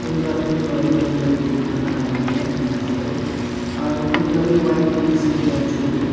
kunba toh normal pray kurikaena khara kurikaena dikhiase aro kunba toh white dress pina chukri--